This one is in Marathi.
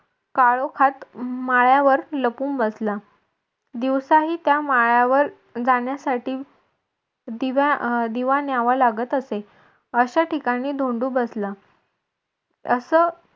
काळोखात माळ्यावर लपून बसला दिवसाही त्या माळ्यावर जाण्यासाठी दिवा न्यावा लागत असे अशा ठिकाणी धोंडू बसला असं